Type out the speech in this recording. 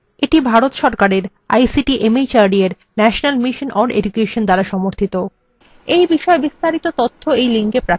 এটি ভারত সরকারের ict mhrd এর national mission on education দ্বারা সমর্থিত